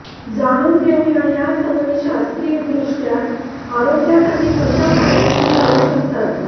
जाणून घेऊया या सवयी शास्त्रीयदृष्ट्या आरोग्यासाठी कशा फायदेशीर ठरू शकतात